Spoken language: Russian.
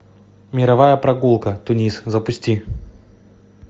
мировая прогулка тунис запусти